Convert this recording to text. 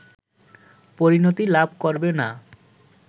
পরিণতি লাভ করবে না